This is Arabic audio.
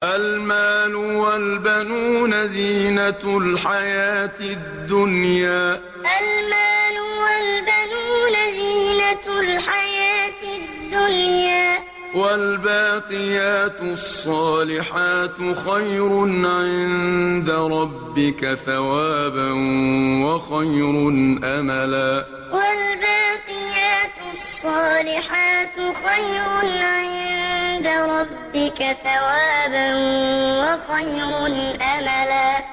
الْمَالُ وَالْبَنُونَ زِينَةُ الْحَيَاةِ الدُّنْيَا ۖ وَالْبَاقِيَاتُ الصَّالِحَاتُ خَيْرٌ عِندَ رَبِّكَ ثَوَابًا وَخَيْرٌ أَمَلًا الْمَالُ وَالْبَنُونَ زِينَةُ الْحَيَاةِ الدُّنْيَا ۖ وَالْبَاقِيَاتُ الصَّالِحَاتُ خَيْرٌ عِندَ رَبِّكَ ثَوَابًا وَخَيْرٌ أَمَلًا